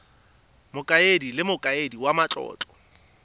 mokaedi le mokaedi wa matlotlo